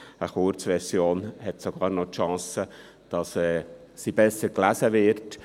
Eine Kurzversion hat sogar noch die Chance, dass sie besser gelesen wird.